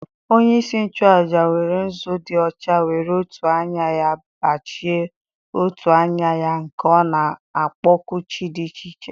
onye-isi-nchu-àjà were nzu di ọcha were otù anya-ya b͕achie otù anya-ya ka ọ nākpọku chi di iche iche.